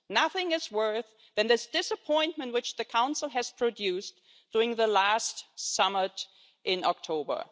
Nothing is worse than the disappointment which the Council produced during the last summit in October.